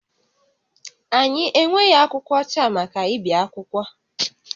Anyị enweghị akwụkwọ ọcha maka ibi akwụkwọ